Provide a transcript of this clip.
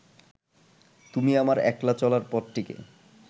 তুমি আমার একলা চলার পথটিকে